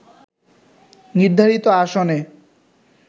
নির্ধারিত আসনে